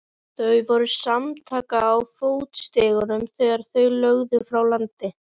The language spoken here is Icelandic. Þau voru samtaka á fótstigunum þegar þau lögðu frá landi.